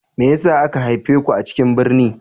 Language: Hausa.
Me yasa aka haife ku a cikin birni?